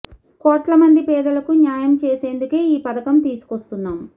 కోట్ల మంది పేదలకు న్యాయం చేసేందుకే ఈ పథకం తీసుకొస్తున్నాం